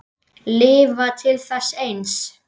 Lifa til þess eins.